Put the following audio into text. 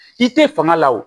I tɛ fanga la o